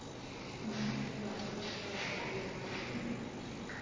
அவளுக்கு basketball னா ரொம்ப பிரியமா இருக்கு.